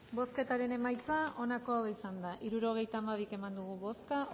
bozketaren emaitza onako izan da hirurogeita hamabi eman dugu bozka